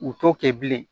U t'o kɛ bilen